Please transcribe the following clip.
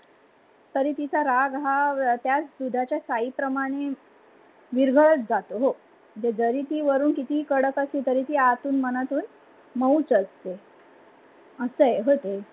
तरी तिचा राग हा त्याच दुधाच्या सायी प्रमाणे विरघळत जातो हो. जरी ती वरून कितीही कडकअसली तरी ती आतून मनातून मऊच असते. अस हे ओ ते.